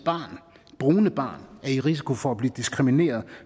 brune barn er i risiko for at blive diskrimineret